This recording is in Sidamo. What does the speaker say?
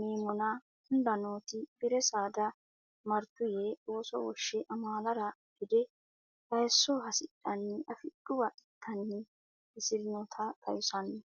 meemmona hunda nooti bi re saada martu yee ooso woshshe amaalara gede hayisso hasidhanni afidhuwa ittanni hasi rinota xawissanno.